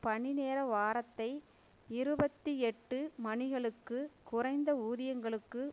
பணி நேர வாரத்தை இருபத்தி எட்டு மணிகளுக்கு குறைந்த ஊதியங்களுக்கு